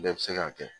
Bɛɛ bɛ se k'a kɛ